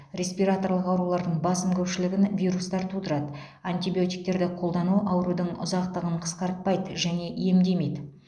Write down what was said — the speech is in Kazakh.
респираторлық аурулардың басым көпшілігін вирустар тудырады антибиотиктерді қолдану аурудың ұзақтығын қысқартпайды және емдемейді